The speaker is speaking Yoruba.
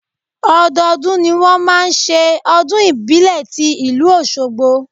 Ọdọọdún ni wọn máa ń ṣe ọdún ìbílẹ̀ ti ìlú Oṣogbo.